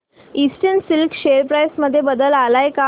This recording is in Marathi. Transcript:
ईस्टर्न सिल्क शेअर प्राइस मध्ये बदल आलाय का